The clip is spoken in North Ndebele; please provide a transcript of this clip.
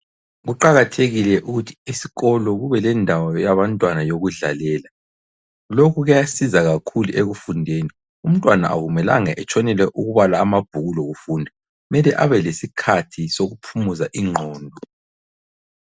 Kuqakathekile ukuthi esikolo kube lendawo yabantwana yokudlalela, lokhu kuyasiza kakhulu ekufundeni umntwana akumelanga etshonele ukubala amabhuku lokufunda kumele kube lesikhathi sokuphumuza ingqondo.